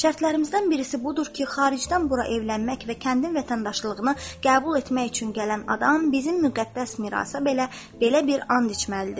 Şərtlərimizdən birisi budur ki, xaricdən bura evlənmək və kəndin vətəndaşlığını qəbul etmək üçün gələn adam bizim müqəddəs mirasa belə bir and içməlidir.